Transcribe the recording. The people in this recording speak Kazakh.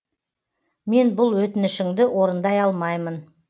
мен бұл өтінішіңді орындай алмаймын